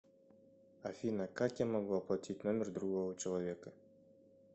афина как я могу оплатить номер другого человека